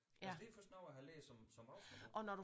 Altså det er først noget jeg har lært som som voksen at bruge